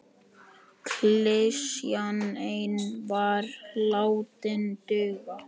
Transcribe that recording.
Klisjan ein var látin duga.